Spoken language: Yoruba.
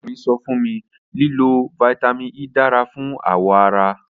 Ọrẹ mi sọ fun mi lilo Vitamin E dara fun awọ ara